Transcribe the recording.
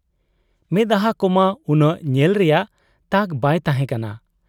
ᱼᱼᱢᱮᱫᱦᱟᱸ ᱠᱚᱢᱟ ᱩᱱᱟᱹᱜ ᱧᱮᱞ ᱨᱮᱭᱟᱜ ᱛᱟᱠ ᱵᱟᱭ ᱛᱟᱦᱮᱸ ᱠᱟᱱᱟ ᱾